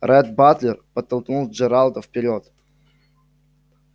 ретт батлер подтолкнул джералда вперёд